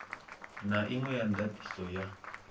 na inwe ya ndatiso ya